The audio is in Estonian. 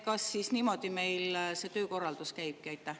Kas niimoodi meil see töökorraldus käibki?